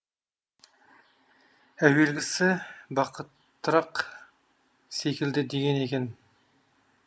әуелгісі бақыттырақ секілді деген екен